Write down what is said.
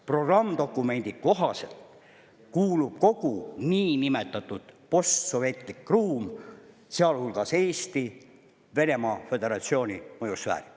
Programmdokumendi kohaselt kuulub kogu niinimetatud postsovetlik ruum, sealhulgas Eesti, Venemaa Föderatsiooni mõjusfääri.